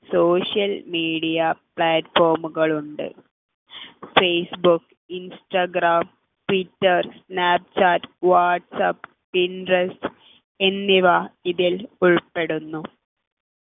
social media platform കൾ ഉണ്ട് Facebook Instagram Twitter Snapchat WhatsApp Pinterest എന്നിവ ഇതിൽ ഉൾപ്പെടുന്നു